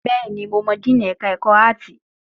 Bẹ́ẹ̀ ni, mo mọ díìnì ẹ̀ka ẹ̀kọ́ áàtì?